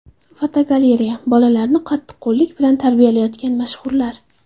Fotogalereya: Bolalarini qattiqqo‘llik bilan tarbiyalayotgan mashhurlar.